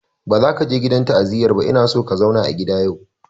Ba za ka je gidan ta'aziyar ba ina son ka zauna a gida yau!